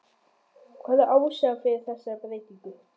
Hver er ástæðan fyrir þessari breytingu?